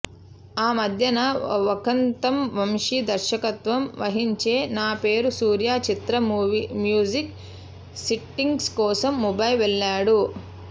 ఆ మధ్యన వక్కంతం వంశి దర్శకత్వం వహించే నా పేరు సూర్య చిత్ర మ్యూజిక్ సిట్టింగ్స్ కోసం ముంబై వెళ్ళాడు